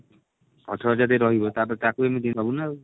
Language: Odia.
ଅଠର ହଜାର ଦେଇକି ରହିବ ତାପରେ ତାକୁ ଏମିତି ନା